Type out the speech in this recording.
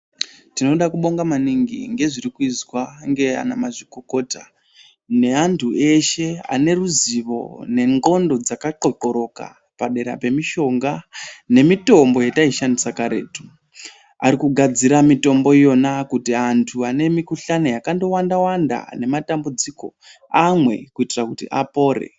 Tinoda kubonga maningi ngezvirikuizwa ngana mazvikokota neantu eshe aneruzivo nendxondo dzakatxotxoroka padera pemishonga nemitombo yetaishandisa karetu. Arikugadzira mitombo iyona kuti antu anemikhuhlani yakandowanda-wanda nematambudziko amwe kuitira kuti apore.